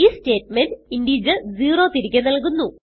ഈ statement integer zero തിരികെ നല്കുന്നു